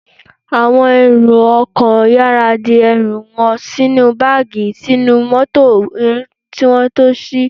Àwọn èrò ọkọ̀ yára di ẹrù wọn sínú báàgì sínú mótò kí wọ́n tó sí